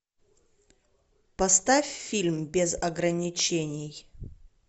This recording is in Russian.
поставь фильм без ограничений